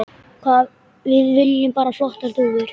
Við viljum bara flottar dúfur.